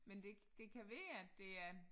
Men det det kan være at det er